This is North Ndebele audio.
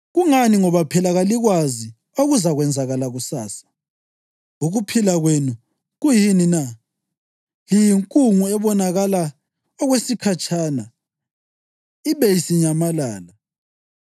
Kungani ngoba phela kalikwazi okuzakwenzakala kusasa. Ukuphila kwenu kuyini na? Liyinkungu ebonakala okwesikhatshana ibe isinyamalala.